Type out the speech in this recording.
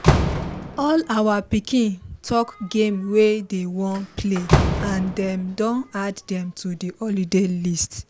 all our pikin talk game wey dey wan plan and dem don add dem to the holiday list